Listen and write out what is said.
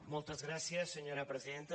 moltes gràcies senyora presidenta